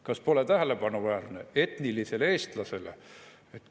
Kas pole tähelepanuväärne: etnilisele eestlasele?